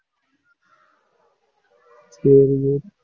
சரி சரி